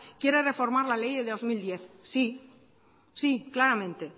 quiere reformar la ley del dos mil diez sí sí claramente